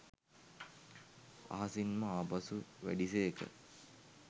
අහසින්ම ආපසු වැඩි සේක